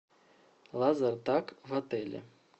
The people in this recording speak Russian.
лазертаг в отеле